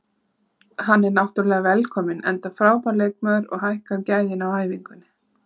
Hann er náttúrulega velkominn enda frábær leikmaður og hækkar gæðin á æfingunni.